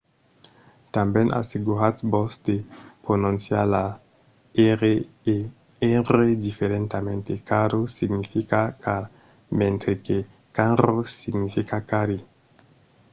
tanben asseguratz-vos de prononciar las r e rr diferentament: caro significa car mentre que carro significa carri